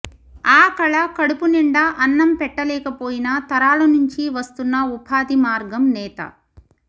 ఆ కళ కడుపు నిండా అన్నం పెట్టలేకపోయినా తరాల నుంచి వస్తున్న ఉపాధి మార్గం నేత